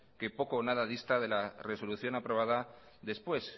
que poco o nada dista de la resolución aprobada después